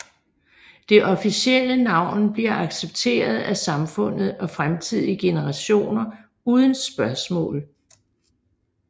Det officielle navn bliver accepteret af samfundet og fremtidige generationer uden spørgsmål